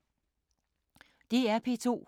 DR P2